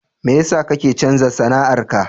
Me yasa kake canza sana'ar ka?